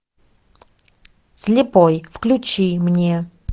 слепой включи мне